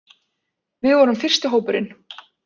Við vorum fyrsti hópurinn